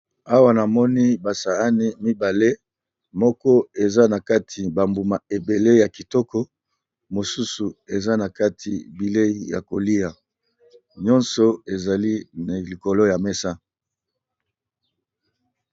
Awa namoni basaani mibale moko eza na kati bambuma ebele ya kitoko mosusu eza na kati bilei ya kolia nyonso ezali na likolo ya mesa.